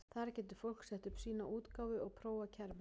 Þar getur fólk sett upp sína útgáfu og prófað kerfið.